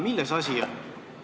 Milles asi on?